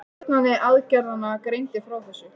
Stjórnandi aðgerðanna greindi frá þessu